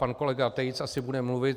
Pan kolega Tejc asi bude mluvit.